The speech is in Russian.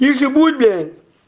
режим